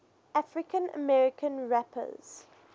african american rappers